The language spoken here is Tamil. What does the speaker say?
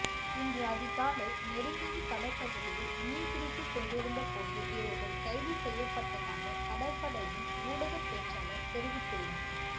இன்று அதிகாலை நெடுந்தீவு கடற்பகுதியில் மீன் பிடித்துக் கொண்டிருந்த போது இவர்கள் கைது செய்யப்பட்டதாக கடற்படையின் ஊடகப் பேச்சாளர் தெரிவித்துள்ளார்